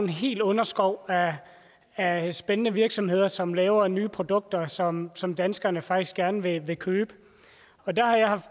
hel underskov af spændende virksomheder som laver nye produkter som som danskerne faktisk gerne vil vil købe